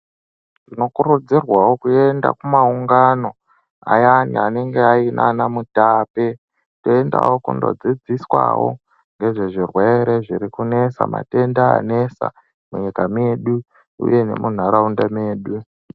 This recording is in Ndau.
Tinokurudzirwawo kuenda kumaungano ayani anenge aina anaMutape toendawo kundodzidziswawo ngezvezvirwere zvanesa matenda anesa munyika mwedu uye nemuntaraunda mwedu.